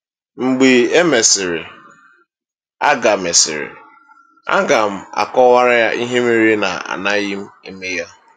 Mgbe e mesịrị, aga mesịrị, aga m akọwara ya ihe mere na-anaghị m eme ya.”